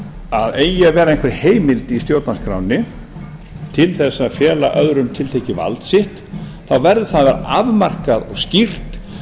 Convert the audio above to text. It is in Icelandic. að eigi að vera einhver heimild í stjórnarskránni á að fela öðrum tiltekið vald sitt þá verður það afmarkað og skýrt